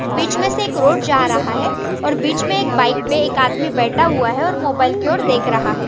बीच मेंसे एक रोड जा रहा है और बीच मे एक बाइक पे एक आदमी बैठा हुआ हैऔर मोबाइल की ओर देख रहा है।